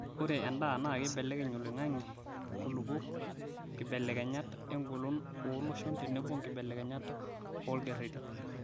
Ore endaa naa keibelekeny oloing'ang'e, nkulupuok, nkibelekenyat engolon ooloshon tenebo nkibelekenyat olkereti.